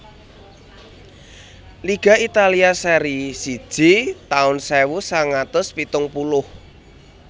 Liga Italia Serie siji taun sewu sangang atus pitung puluh